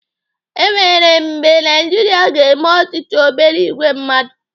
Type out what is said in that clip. Enwere mgbe Naijiria ga-eme ọchịchị obere ìgwè mmadụ?